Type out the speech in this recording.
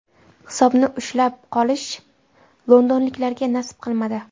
Hisobni ushlab qolish londonliklarga nasib qilmadi.